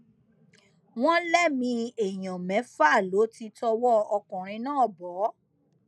wọn lẹmìí èèyàn mẹfà ló ti tọwọ ọkùnrin náà bọ